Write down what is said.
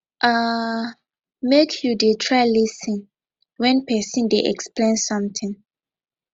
um make you dey try lis ten wen pesin dey explain sometin